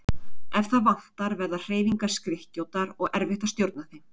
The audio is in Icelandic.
Ef það vantar verða hreyfingar skrykkjóttar og erfitt að stjórna þeim.